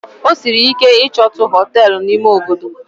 Ọ sịrị ike ichotu Họtelụ na ime Obodo